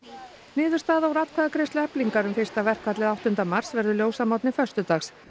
niðurstaða úr atkvæðagreiðslu Eflingar um fyrsta verkfallið áttunda mars verður ljós að morgni föstudags